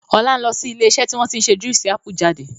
Ọlá ń lọ sí ilé iṣẹ́ tí wọn tí ń ṣe Juísì ápù jáde.